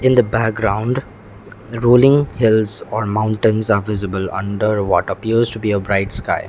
in the background rolling hills or mountains are visible under what appears to be a bright sky.